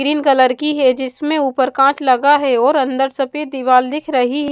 cream colour की है जिसमें ऊपर काँच लगा है और अंदर सफेद दीवाल दिख रही --